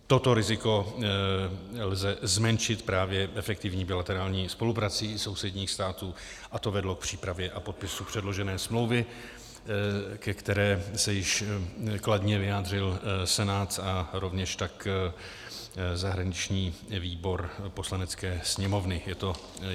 Toto riziko lze zmenšit právě efektivní bilaterální spoluprací sousedních států a to vedlo k přípravě a podpisu předložené smlouvy, ke které se již kladně vyjádřil Senát a rovněž tak zahraniční výbor Poslanecké sněmovny.